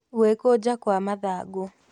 Gwĩkũnja Kwa mathangũ